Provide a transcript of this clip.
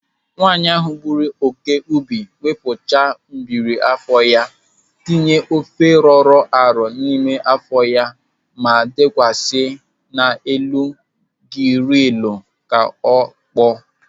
Nwaanyị ahụ gburu oke ubi, wepụcha mgbiri afọ ha, tinye ofe rọrọ arọ n'ime afọ ha ma dekwasa ha n'elu girilu ka ha kpọọ.